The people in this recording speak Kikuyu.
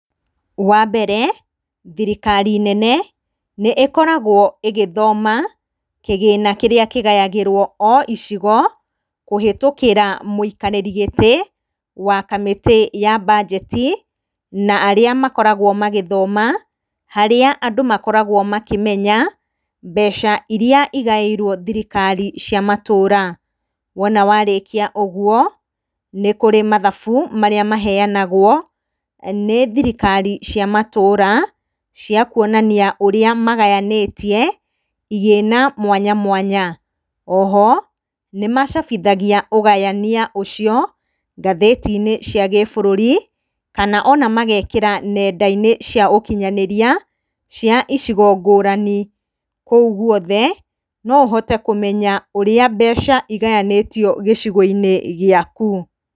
Wambere thirikari nene nĩĩkoragwo ĩgĩthoma kĩgĩna kĩrĩa kĩgayagĩrwo o icigo kũhĩtũkĩra mũikarĩri gĩtĩ wa kamĩtĩ ya mbanjeti, na arĩa makoragwo magĩthoma harĩa andũ makoragwo makĩmenya mbeca iria igaĩirwo thirikari cia matũra. Wona warĩkia ũguo nĩ kũrĩ mathabu marĩa maheyanagwo nĩ thirikari cia matũra cia kuonania ũrĩa magayanĩtie igĩna mwanya mwanya. Oho nĩmacabithagia ũgayania ũcio ngathĩtinĩ cia gĩbũrũri kana ona magekĩra nendainĩ cia ũkinyanĩria cia icigo ngũrani. Kũu guothe no ũhote kũmenya ũrĩa mbeca igayanĩtio gĩcigo-inĩ gĩaku.